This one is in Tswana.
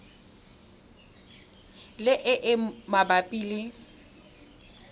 le e e mabapi le